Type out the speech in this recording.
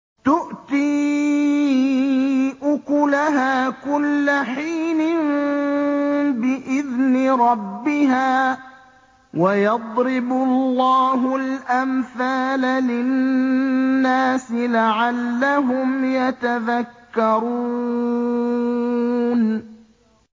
تُؤْتِي أُكُلَهَا كُلَّ حِينٍ بِإِذْنِ رَبِّهَا ۗ وَيَضْرِبُ اللَّهُ الْأَمْثَالَ لِلنَّاسِ لَعَلَّهُمْ يَتَذَكَّرُونَ